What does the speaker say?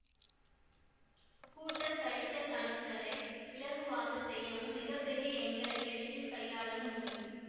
கூட்டல் கழித்தல் கணக்குகளை இலகுவாக செய்யவும் மிக பெரிய எண்களை எளிதில் கையாளவும் முடியும்